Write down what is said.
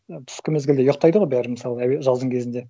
түскі мезгілде ұйықтайды ғой бәрі мысалға жаздың кезінде